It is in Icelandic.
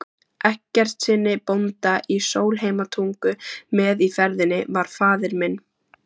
Eggertssyni bónda í Sólheimatungu, með í ferðinni var faðir minn